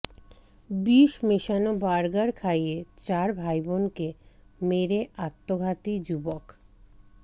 বিষ মেশানো বার্গার খাইয়ে চার ভাইবোনকে মেরে আত্মঘাতী যুবক